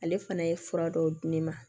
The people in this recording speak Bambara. Ale fana ye fura dɔw di ne ma